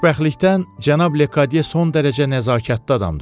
Xoşbəxtlikdən cənab Lekadye son dərəcə nəzakətli adamdır.